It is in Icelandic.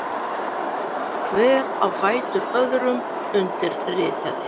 Hver á fætur öðrum undirritaði.